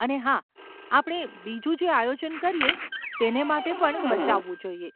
અને હા, આપણે બીજું જે આયોજન કરીએ તેને માટે પણ બચાવવું જોઈએ.